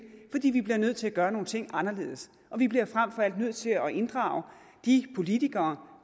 fordi vi bliver nødt til at gøre nogle ting anderledes og vi bliver frem for alt nødt til at inddrage de politikere